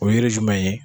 O yiri jumɛn ye